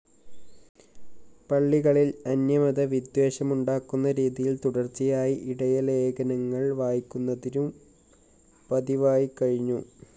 പള്ളികളില്‍ അന്യമത വിദ്വേഷമുണ്ടാക്കുന്ന രീതിയില്‍ തുടര്‍ച്ചയായി ഇടയലേഖനങ്ങള്‍ വായിക്കുന്നതും പതിവായിക്കഴിഞ്ഞു